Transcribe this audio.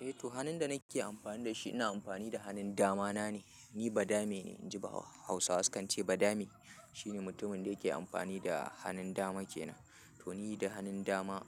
Eh to hannun da nake amfani da shi ina amfani da hanun dama na ne. Ni badame ne, inji Hausawa su kan ce badame shine mutumin da yake amfani da hannun dama ke nan. To ni da hannun dama,